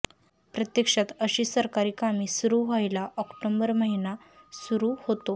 प्रत्यक्षात अशी सरकारी कामे सुरू व्हायला ऑक्टोबर महिना सुरू होतो